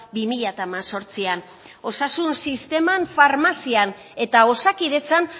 bi mila hemezortzian osasun sisteman farmazian eta osakidetzan